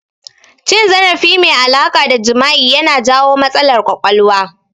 Cin zarafi mai alaƙa da jima'i ya na jawo matsalar ƙwaƙwalwa